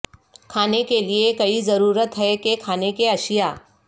کھانے کے لئے کی ضرورت ہے کہ کھانے کی اشیاء